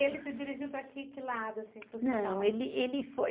Ele se dirigiu para que lado?